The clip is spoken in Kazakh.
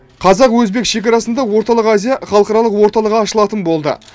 қазақ өзбек шекарасында орталық азия халықаралық орталығы ашылатын болды